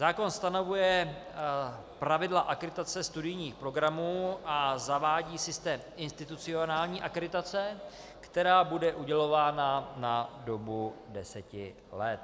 Zákon stanovuje pravidla akreditace studijních programů a zavádí systém institucionální akreditace, která bude udělována na dobu deseti let.